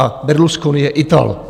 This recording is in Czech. A Berlusconi je Ital!